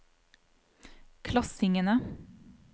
klassingene